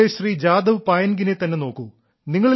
അസമിലെ ശ്രീ ജാദവ് പായൻഗിനെ തന്നെ നോക്കൂ